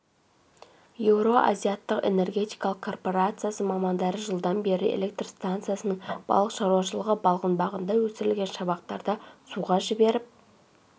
еуроазиаттық энергетикалық корпорациясы мамандары жылдан бері электр станцияның балық шаруашылығы балғынбағында өсірілген шабақтарды суға жіберіп